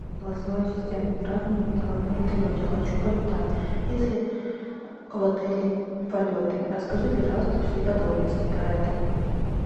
голосовой ассистент ни разу не летала на вертолете хочу полетать есть ли в отеле полеты расскажи пожалуйста все подробности про это